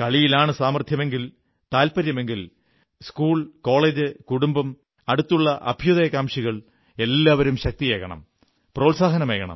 കളിയിലാണ് സാമർഥ്യമെങ്കിൽ താത്പര്യമെങ്കിൽ school college കുടുംബം അടുത്തുള്ള അഭ്യുദയകാംക്ഷികൾ എല്ലാവരും ശക്തിയേകണം പ്രോത്സാഹനമേകണം